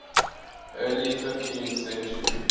early fifteenth century